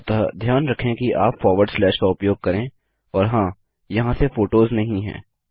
अतः ध्यान रखें कि आप फॉरवर्ड स्लैश का उपयोग करें और हाँ यहाँ ये फोटोस नहीं हैं